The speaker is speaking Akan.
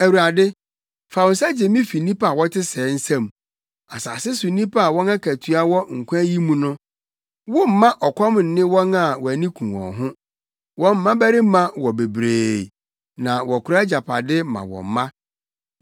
Awurade, fa wo nsa gye me fi nnipa a wɔte sɛɛ nsam; asase so nnipa a wɔn akatua wɔ nkwa yi mu no. Womma ɔkɔm nne wɔn a wʼani ku wɔn ho; wɔn mmabarima wɔ bebree, na wɔkora agyapade ma wɔn mma.